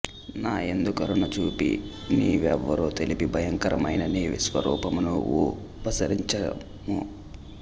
నాయందు కరుణ చూపి నీ వెవరో తెలిపి భయంకరమైన నీ విశ్వరూపమును ఉపసంహరింఛుము